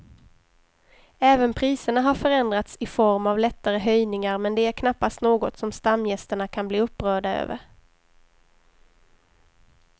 Även priserna har förändrats i form av lättare höjningar men det är knappast något som stamgästerna kan bli upprörda över.